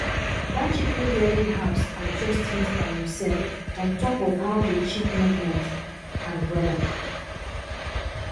that chicken rearing house adjust heat by himself on top of how the chick movement and weather